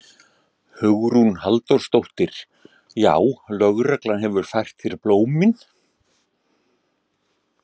Hugrún Halldórsdóttir: Já, lögreglan hefur fært þér blómin?